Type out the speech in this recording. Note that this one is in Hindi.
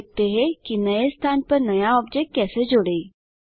अब देखते हैंकि नए स्थान पर नया ऑब्जेक्ट कैसे जोड़ें